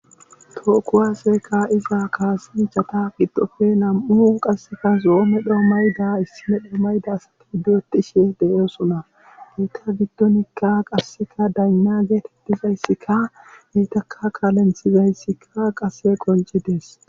To kuwase ka'iza kasanchata giddoppe nam'u nayti de'osona.